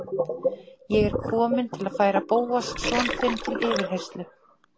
Ég er kominn til að færa Bóas son þinn til yfirheyrslu